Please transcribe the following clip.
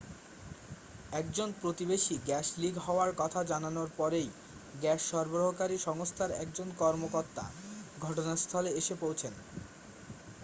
একজন প্রতিবেশী gas leak হওয়ার কথা জানানোর পরেই গ্যাস সরবরাহকারী সংস্থার একজন কর্মকর্তা ঘটনাস্থলে এসে পৌঁছন